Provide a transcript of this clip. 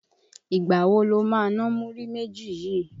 Ìgbà wo lo ma ná múrí méjì yìí?